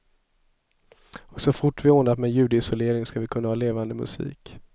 Och så fort vi ordnat med ljudisolering ska vi kunna ha levande musik.